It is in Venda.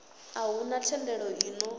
a huna thendelo i ṱo